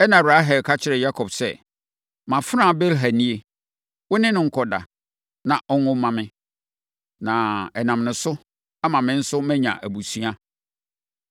Ɛnna Rahel ka kyerɛɛ Yakob sɛ, “Mʼafenaa Bilha nie, wo ne no nkɔda, na ɔnwo mma me, na ɛnam ne so ama me nso manya abusua.”